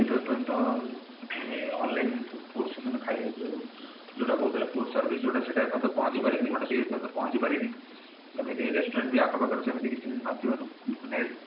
online foods ସେମାନେ ଖାଇବେ ଯୋଉଁ ଯୋଉଟା ରହୁଥିଲା food service ସେଇଟା ଏପର୍ଯ୍ୟନ୍ତ ପହଞ୍ଚି ପାରିନି ପହଞ୍ଚି ପାରିନି ସେମିତି restaurant ବି ଆଖପାଖରେ ସେମିତି କିଛି ନ ଥିବାରୁ ମାନେ